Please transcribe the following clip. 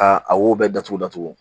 Ka a wo bɛɛ datugu datugu